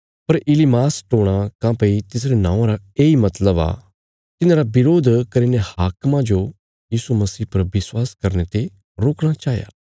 पर इलीमास टोणा काँह्भई तिसरे नौआं रा येई मतलब आ तिन्हांरा बरोध करीने हाकिमा जो यीशु मसीह पर विश्वास करने ते रोकणा चाया